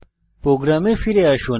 programme ফিরে আসুন